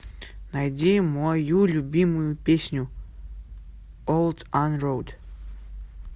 найди мою любимую песню ол анроад